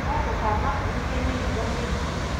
No ndũkamakuithie mũrigo mũritũ